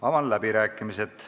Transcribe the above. Avan läbirääkimised.